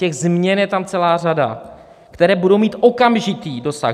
Těch změn je tam celá řada, které budou mít okamžitý dosah.